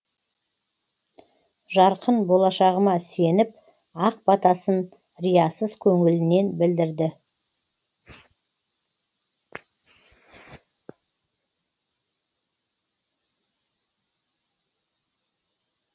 жарқын болашағыма сеніп ақ батасын риясыз көңілінен білдірді